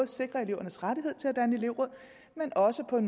sikrer elevernes rettighed til at danne elevråd men også at